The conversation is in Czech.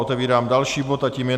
Otevírám další bod a tím je